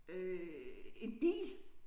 Øh en bil